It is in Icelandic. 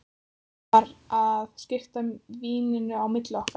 Hann var að skipta víninu á milli okkar!